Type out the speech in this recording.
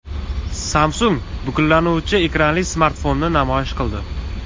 Samsung buklanuvchi ekranli smartfonni namoyish qildi.